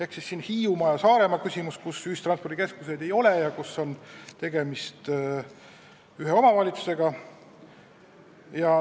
See on Hiiumaa ja Saaremaa küsimus, kus ühistranspordikeskuseid ei ole ja kus on tegemist ühe omavalitsusega.